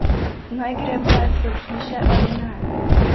Naj gre pes od hiše ali ne?